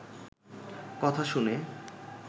কথা শুনে